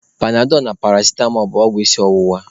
Panadọlụ na paracitamọ bụ ọgwụ isi ọwụwa.